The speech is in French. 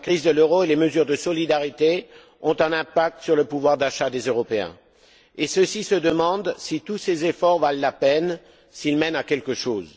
La crise de l'euro et les mesures de solidarité ont un impact sur le pouvoir d'achat des Européens, et ceux ci se demandent si tous ces efforts valent la peine, s'ils mènent à quelque chose.